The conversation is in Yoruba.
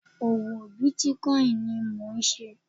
Òwò bitcoin ni mò ń ṣe.